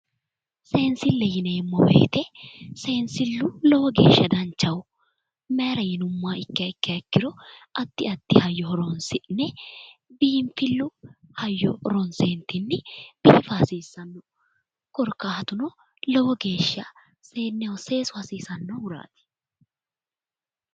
Seensile yinneemmo woyte ,seensilu lowo geeshsha danchaho mayira yinuummoha ikkiha ikkiro addi addi hayyo horonsi'ne biinfilu hayyo horonsi'ne ka'nentinni seesisa hasiisano, korkaatuno lowo geeshsha seeneho seesu hasiisanohurati.